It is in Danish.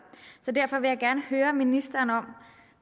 derfor vil jeg gerne høre ministeren om